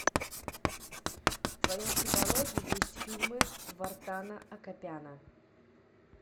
в твоем каталоге есть фильмы вартана акопяна